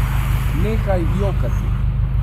Nehaj jokati.